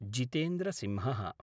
Jitendra Singh: